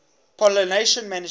pollination management